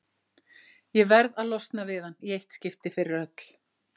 Ég verð að losna við hann í eitt skipti fyrir öll.